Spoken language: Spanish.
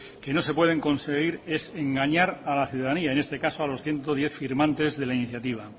que no se pueden conseguir es engañar a la ciudadanía y en este caso a los ciento diez firmantes de la iniciativa